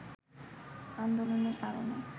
আন্দোলনের কারণে